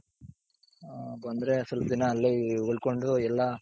ಬಂದ್ರೆ ಸ್ವಲ್ಪ್ ದಿನ ಅಲ್ಲೇ ಉಳ್ಕೊಂಡ್ ಎಲ್ಲಾ